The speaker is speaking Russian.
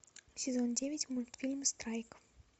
сезон девять мультфильм страйк